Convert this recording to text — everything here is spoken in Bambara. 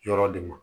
Yɔrɔ de ma